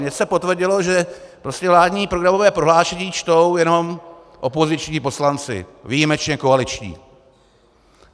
Mně se potvrdilo, že vládní programové prohlášení čtou jenom opoziční poslanci, výjimečně koaliční.